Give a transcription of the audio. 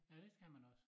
Ja det skal man også